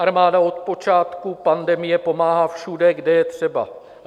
Armáda od počátku pandemie pomáhá všude, kde je třeba.